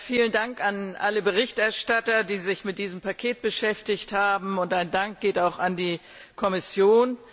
Vielen Dank an alle Berichterstatter, die sich mit diesem Paket beschäftigt haben, und mein Dank geht auch an die Kommission!